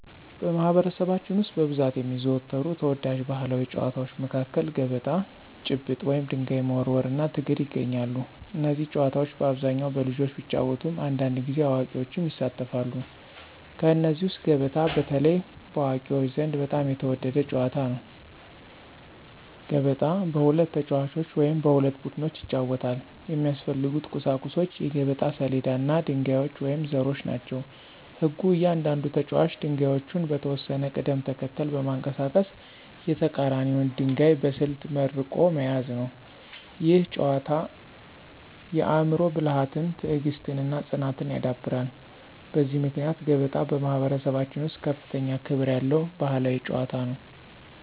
በማኅበረሰባችን ውስጥ በብዛት የሚዘወተሩ ተወዳጅ ባሕላዊ ጨዋታዎች መካከል ገበጣ፣ ጭብጥ (ድንጋይ መወርወር) እና ትግል ይገኛሉ። እነዚህ ጨዋታዎች በአብዛኛው በልጆች ቢጫወቱም አንዳንድ ጊዜ አዋቂዎችም ይሳተፋሉ። ከእነዚህ ውስጥ ገበጣ በተለይ በአዋቂዎች ዘንድ በጣም የተወደደ ጨዋታ ነው። ገበጣ በሁለት ተጫዋቾች ወይም በሁለት ቡድኖች ይጫወታል። የሚያስፈልጉት ቁሳቁሶች የገበጣ ሰሌዳ እና ድንጋዮች ወይም ዘሮች ናቸው። ሕጉ እያንዳንዱ ተጫዋች ድንጋዮቹን በተወሰነ ቅደም ተከተል በማንቀሳቀስ የተቀራኒውን ድንጋይ በስልት መርቆ መያዝ ነው። ይህ ጨዋታ የአእምሮ ብልሃትን፣ ትዕግሥትን እና ፅናትን ያዳብራል። በዚህ ምክንያት ገበጣ በማኅበረሰባችን ውስጥ ከፍተኛ ክብር ያለው ባሕላዊ ጨዋታ ነው።